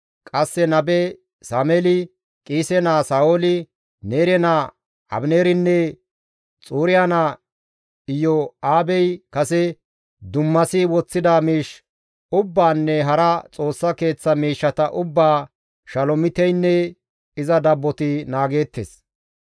Qasse nabe Sameeli, Qiise naa Sa7ooli, Neere naa Abineerinne Xuriya naa Iyo7aabey kase dummasi woththida miish ubbaanne hara Xoossa Keeththa miishshata ubbaa Shalomiteynne iza dabboti naageettes.